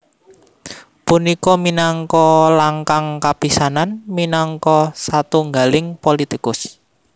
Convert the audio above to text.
Punika minangka langkang kapisanan minangka satunggaling politikus